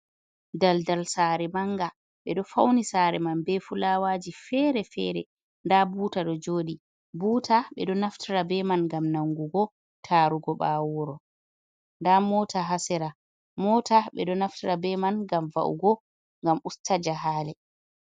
Daldal sare manga. Ɓe ɗo fauni sare man be fulawaji fere-fere. Nda buta ɗo joɗi. Buta ɓe ɗo naftira be man ngam nangugo, tarugo bawo wuro. Nda mota ha sera. Mota ɓe ɗo naftira be man ngam va’ugo gam usta jahale.